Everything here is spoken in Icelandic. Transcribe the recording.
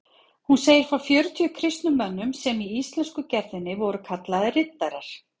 Hún segir frá fjörutíu kristnum mönnum sem í íslensku gerðinni voru kallaðir riddarar.